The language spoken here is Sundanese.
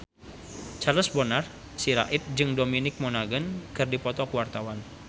Charles Bonar Sirait jeung Dominic Monaghan keur dipoto ku wartawan